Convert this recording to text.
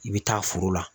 I bɛ taa foro la